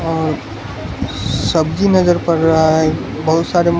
और सब्जी नजर पड़ रहा है बहोत सारे मो --